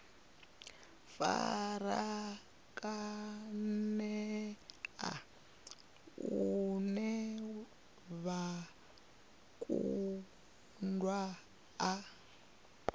farakanea lune vha kundwa u